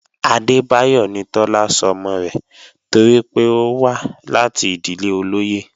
Adébáyọ̀ ni Tọ́lá sọmọ rẹ̀ torí pé ó wá láti ìdílé olóyè